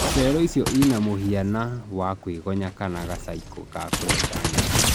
Cello icio ina mũhiana wa kwĩgonya kana ga caikũ ka kũrenga nyeki.